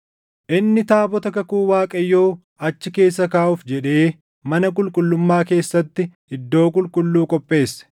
Inni taabota kakuu Waaqayyoo achi keessa kaaʼuuf jedhee mana qulqullummaa keessatti iddoo qulqulluu qopheesse.